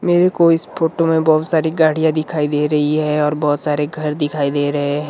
मेरे को इस फोटो में बहुत सारी गाड़ियाँ दिखाई दे रही है और बहुत सारे घर दिखाई दे रहे हैं।